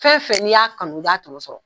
Fɛn fɛn n'i y'a kanu, i b'a tɔnɔ sɔrɔ .